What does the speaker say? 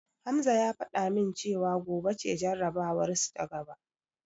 Hamza ya fada min cewa gobe ce jarabawarsu ta gaba.